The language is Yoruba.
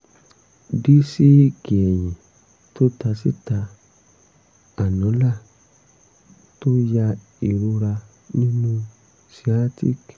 dísíìkì ẹ̀yìn tó ta síta annular tó ya ìrora nínú sciatic